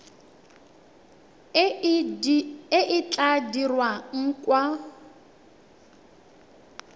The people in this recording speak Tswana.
e e tla dirwang kwa